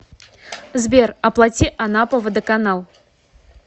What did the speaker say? сбер оплати анапа водоканал